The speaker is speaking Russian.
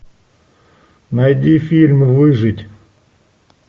найди фильм выжить